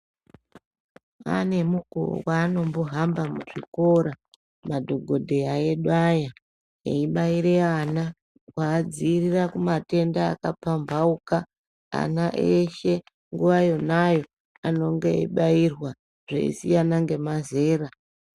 Ane mukuwo waanombohamba muzvikora madhokodheya edu aya eibaire ana kuadziirira kumatenda akapambauka ana eshe nguwa yonayo anenge eibairwa zveisiyana nemazera.